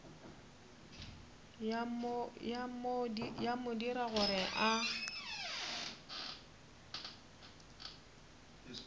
ya mo dira gore a